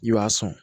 I b'a sɔn